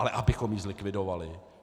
Ale abychom ji zlikvidovali?